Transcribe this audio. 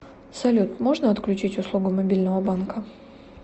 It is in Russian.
салют можно отключить услугу мобильного банка